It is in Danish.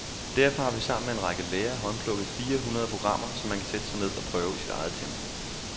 Derfor har vi sammen med en række lærere håndplukket fire hundrede programmer, som man kan sætte sig ned og prøve i sit eget tempo.